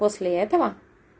после этого